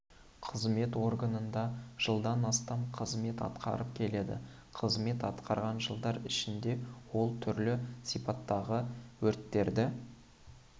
қызмет органында жылдан астам қызмет атқарып келеді қызмет атқарған жылдар ішінде ол түрлі сипаттағы өрттерді